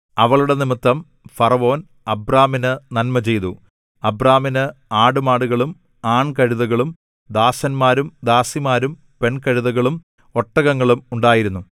അവളുടെ നിമിത്തം ഫറവോൻ അബ്രാമിന് നന്മചെയ്തു അബ്രാമിന് ആടുമാടുകളും ആൺകഴുതകളും ദാസന്മാരും ദാസിമാരും പെൺകഴുതകളും ഒട്ടകങ്ങളും ഉണ്ടായിരുന്നു